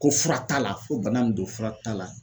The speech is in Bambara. Ko fura t'a la fo bana mun don fura t'a la.